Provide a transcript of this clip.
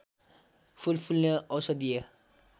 फूल फुल्ने औषधिय